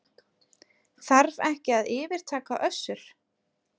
Þarf ekki að yfirtaka Össur